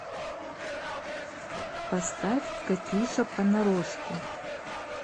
поставь катюша понарошку